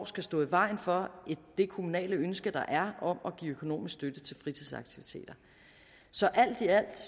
skal stå i vejen for det kommunale ønske der er om at give økonomisk støtte til fritidsaktiviteter så alt i alt